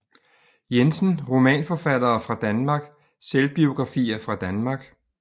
Jensen Romanforfattere fra Danmark Selvbiografer fra Danmark